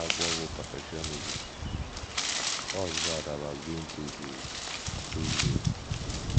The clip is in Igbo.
Akwụkwọ bụ́ Perfectionism — What’s Bad About Being Too Good? Too Good?